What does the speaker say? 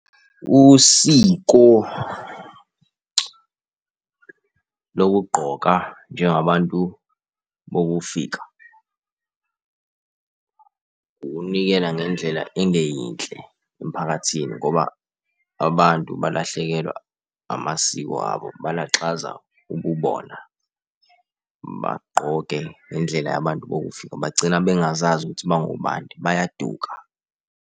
Usiko lokugqoka njengabantu bokufika ukunikela ngendlela engeyinhle emphakathini ngoba abantu balahlekelwa amasiko abo, balaxaza ububona, bagqoke ngendlela yabantu bokufika. Bagcina bengazazi ukuthi bangobani bayaduka.